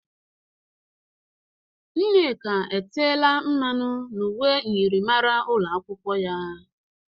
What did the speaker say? Nneka etela mmanụ n'uwe myịrịmara ụlọ akwụkwọ ya